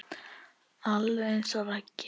Alveg eins og Raggi.